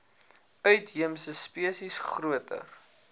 uitheemse spesies groter